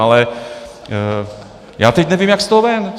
Ale já teď nevím, jak z toho ven.